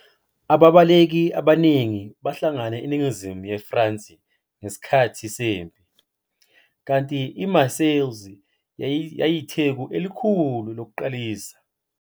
Ababaleki abaningi bahlangana eningizimu yeFrance ngesikhathi sempi, kanti iMarseilles yayiyitheku elikhulu lokuqalisa.